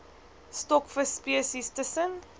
stokvis spesies tussen